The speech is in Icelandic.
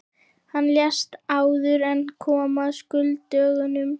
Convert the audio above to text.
Hann lést áður en kom að skuldadögunum.